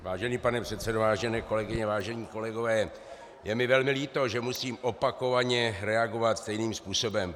Vážený pane předsedo, vážené kolegyně, vážení kolegové, je mi velmi líto, že musím opakovaně reagovat stejným způsobem.